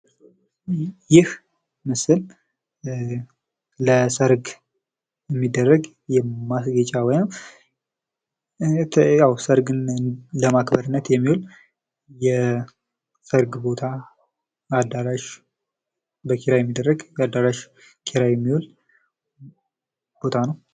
ይህ ምስል ለሰርግ የሚደረግ የማስጌጫ ወይም ሰርግን ለማክበር በኪራይ የሚውል አዳራሽ ወይም ቦታ ነው።